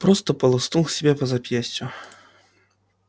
просто полоснул себя по запястью